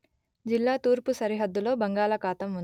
జిల్లా తూర్పు సరిహద్దులో బంగాళాఖాతం ఉంది